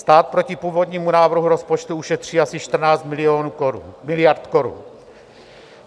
Stát proti původnímu návrhu rozpočtu ušetří asi 14 miliard korun.